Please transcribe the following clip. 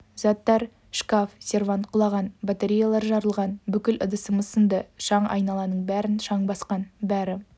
заттар шкаф сервант құлаған батареялар жарылған бүкіл ыдысымыз сынды шаң айналаның бәрін шаң басқан бәрі